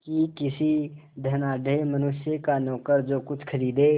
कि किसी धनाढ़य मनुष्य का नौकर जो कुछ खरीदे